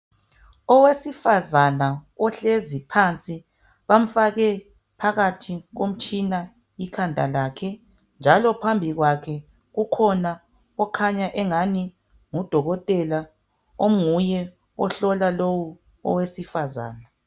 Owesifazana ohlezi phansi, bamfake phakathi komtshina ikhanda lakhe, njalo phambi kwakhe kukhona okhanya engani ngudokotela onguye ohlola lowu owesifazane.